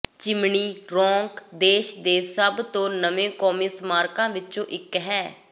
chimney Rock ਦੇਸ਼ ਦੇ ਸਭ ਤੋਂ ਨਵੇਂ ਕੌਮੀ ਸਮਾਰਕਾਂ ਵਿਚੋਂ ਇਕ ਹੈ